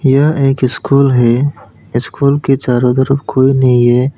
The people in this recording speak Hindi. यह एक स्कूल है स्कूल के चारो तरफ कोई नहीं है।